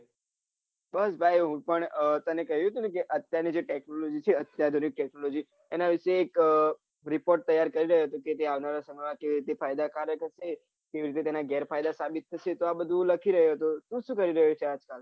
બસ ભાઈ હું પણ આહ તને કહ્યું તું ને કે જે અત્યારની જે tecnology છે અત્યારની જે tecnology એના વિષે એક report તૈયાર કરી રહ્યો હતો કે જે આવનારા સમય માટે ફાયદા કારક હશે કેવી રીતે તને ગેરફાયદા સાબિત થશે તો આ બધુ લખી રહ્યો હતો તું શું કરી રહ્યો છે આજ કાલ